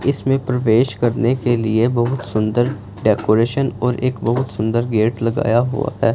इसमें प्रवेश करने के लिए बहोत सुंदर डेकोरेशन और एक बहोत सुंदर गेट लगाया हुआ है।